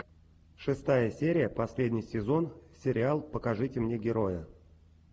шестая серия последний сезон сериал покажите мне героя